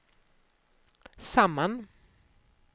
samman